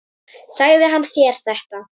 Sagði hann þér þetta?